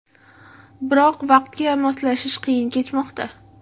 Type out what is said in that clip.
Biroq vaqtga moslashish qiyin kechmoqda.